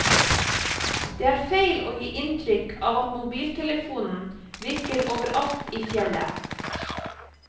Det er feil å gi inntrykk av at mobiltelefonen virker overalt i fjellet.